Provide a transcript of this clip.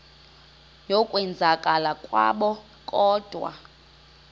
yokwenzakala kwabo kodwa